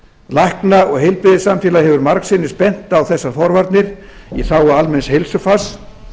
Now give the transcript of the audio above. læknar og heilbrigðissamfélög hafa margsinnis bent á þessar forvarnir í þágu almenns heilsufars